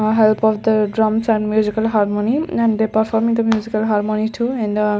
A help of the drums and musical harmony and they performing the musical harmony too and the--